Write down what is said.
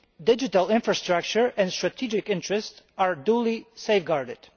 digital infrastructure and strategic interests are duly safeguarded.